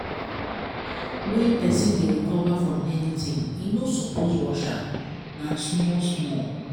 wen pesin dey recover from anything e no suppose rush am na small small.